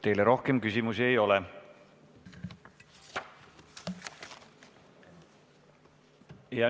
Teile rohkem küsimusi ei ole.